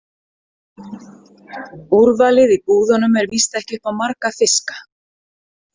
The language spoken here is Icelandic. Úrvalið í búðunum er víst ekki upp á marga fiska.